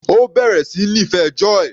Ó bẹ̀rẹ̀ sí níí fẹ́ Joy.